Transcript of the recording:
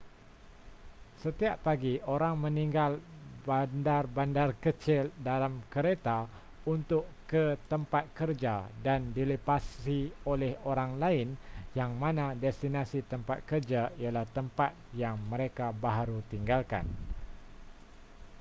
setiap pagi orang meninggal bandar-bandar kecil dalam kereta untuk ke tempat kerja dan dilepasi oleh orang lain yang mana destinasi tempat kerja ialah tempat yang mereka baharu tinggalkan